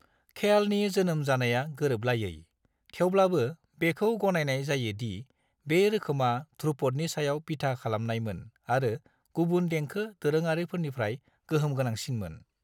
ख्यालनि जोनोम जानाया गोरोबलायै, थेवब्लाबो बेखौ गनायनाय जायो दि बे रोखोमा ध्रुपदनि सायाव बिथा खालामनायमोन आरो गुबुन देंखो दोरोङारिफोरनिफ्राय गोहोमगोनांसिनमोन।